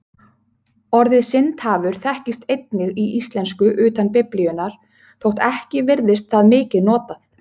Orðið syndahafur þekkist einnig í íslensku utan Biblíunnar þótt ekki virðist það mikið notað.